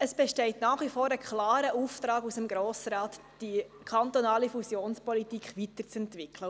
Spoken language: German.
Es besteht nach wie vor ein klarer Auftrag des Grossen Rates, die kantonale Fusionspolitik weiterzuentwickeln.